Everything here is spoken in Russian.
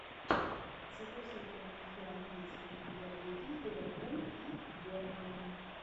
загрузи прямой эфир английской премьер лиги ливерпуль и бернли